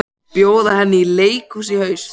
Bjóða henni í leikhús í haust.